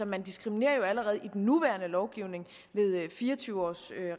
man diskriminerer jo allerede i den nuværende lovgivning ved fire og tyve års